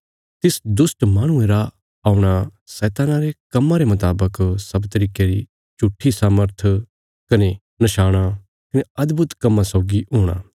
तिस दुष्ट माहणुये रा औणा शैतान्ना रे कम्मां रे मुतावक सब तरिके री झूट्ठी सामर्थ कने नशाणां कने अदभुत कम्मां सौगी हूणा